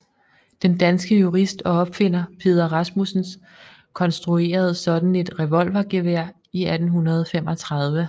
Den danske jurist og opfinder Peder Rasmussen konstruerede sådan et revolvergevær i 1835